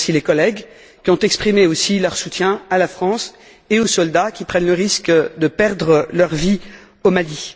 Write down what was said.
Je remercie les collègues qui ont exprimé aussi leur soutien à la France et aux soldats qui prennent le risque de perdre leur vie au Mali.